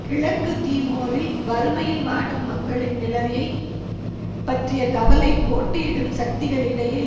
கிழக்கு தீமோரில் வறுமையில் வாடும் மக்களின் நிலையை பற்றிய கவலை போட்டியிடும் சக்திகளிடையே